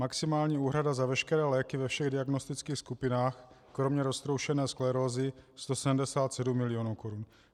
Maximální úhrada za veškeré léky ve všech diagnostických skupinách kromě roztroušené sklerózy 177 milionů korun.